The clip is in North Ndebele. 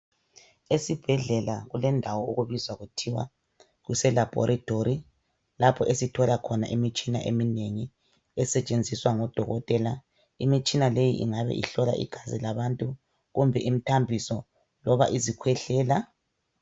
Esibhedlela kulendawo okubizwa kuthiwa kuselaboratory lapho esithola khona imitshina eminengi lapho okuhlolwa khona amagazi abantu kumbe imithambiso loba izikhwehlela.